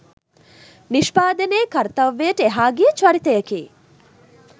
නිෂ්පාදනයේ කර්තව්‍යයට එහා ගිය චරිතයකි